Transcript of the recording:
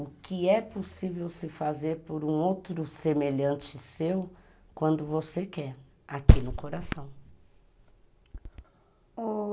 O que é possível se fazer por um outro semelhante seu quando você quer, aqui no coração.